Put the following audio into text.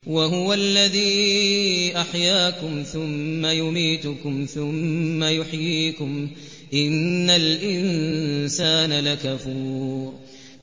وَهُوَ الَّذِي أَحْيَاكُمْ ثُمَّ يُمِيتُكُمْ ثُمَّ يُحْيِيكُمْ ۗ إِنَّ الْإِنسَانَ لَكَفُورٌ